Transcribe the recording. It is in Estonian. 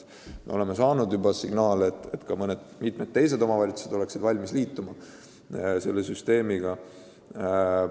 Me oleme juba saanud signaale, et veel mitmed omavalitsused oleksid valmis süsteemiga ühinema.